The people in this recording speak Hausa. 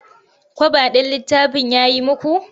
Kwaba ɗin littafin ya yi muku?